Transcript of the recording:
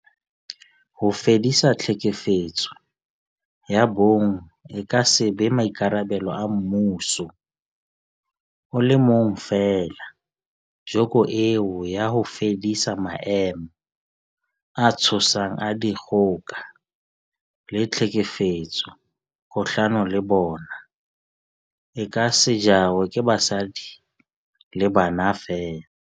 Ho fedisa tlhekefetso ya bong e ka se be maikarabelo a mmuso o le mong feela, joko eo ya ho fedisa maemo a tshosang a dikgoka le tlhekefetso kgahlano le bona, e ka se jarwe ke basadi le bana feela.